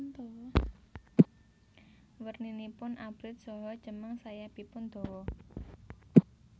Werninipun abrit saha cemeng sayapipun dawa